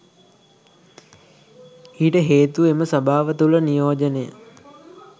ඊට හේතුව එම සභාව තුළ නියෝජනය